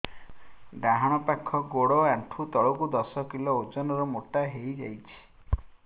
ଡାହାଣ ପାଖ ଗୋଡ଼ ଆଣ୍ଠୁ ତଳକୁ ଦଶ କିଲ ଓଜନ ର ମୋଟା ହେଇଯାଇଛି